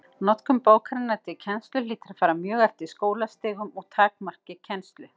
Notkun bókarinnar til kennslu hlýtur að fara mjög eftir skólastigum og takmarki kennslu.